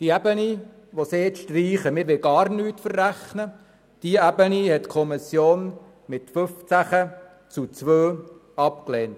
Eine Ebene, nämlich diejenige, wonach gar nichts verrechnet werden soll, hat die Kommissionsmehrheit mit 15 zu 2 Stimmen abgelehnt.